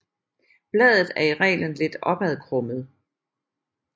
Bladet er i reglen lidt opadkrummet